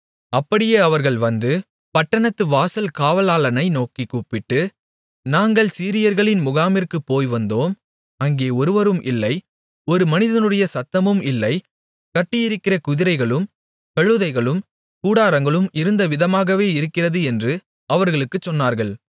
அப்படியே அவர்கள் வந்து பட்டணத்து வாசல் காவலாளனை நோக்கிக் கூப்பிட்டு நாங்கள் சீரியர்களின் முகாமிற்குப் போய்வந்தோம் அங்கே ஒருவரும் இல்லை ஒரு மனிதனுடைய சத்தமும் இல்லை கட்டியிருக்கிற குதிரைகளும் கழுதைகளும் கூடாரங்களும் இருந்த விதமாகவே இருக்கிறது என்று அவர்களுக்குச் சொன்னார்கள்